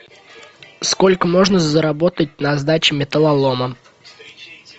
сколько можно заработать на сдаче металлолома